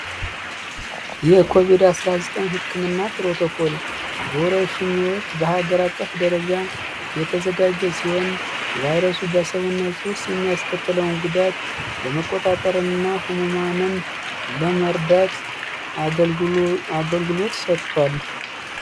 ይህ ኮቪድ- 19 ሕክም እና ፕሮቶኮል በወረሹኞዎት በሀገር አቀፍ ደረጃ የተዘጋጀ ሲሆን ቫይረሱ በሰውነት ውስጥ የሚያስከትለውን ጉዳት ለመቆጣጠር እና ሆመማንን ለመርዳት አገልግሎት ሰጥቷል።